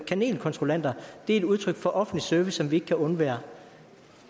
kanelkontrollanter er et udtryk for en offentlig service som vi ikke kan undvære